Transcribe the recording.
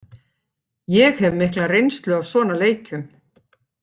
Ég hef mikla reynslu af svona leikjum.